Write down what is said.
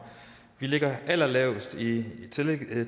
vi ligger allerlavest i